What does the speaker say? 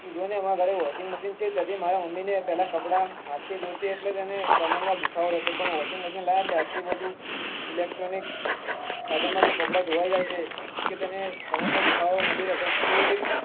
તું જો ને માર ઘરે washing machine છે તો પેલા મારા મમ્મી ને પેલા હાથ થી ધોતી ત્યારેકમર માં દુખાવો રેતો પણ washing machine લાવ્યા ને ત્યાર થી બધું electronic સાધનો માંથી કપડા ધોવાઇ જાય છે તેથી તેને કમર માં દુખાવો નથી થતો.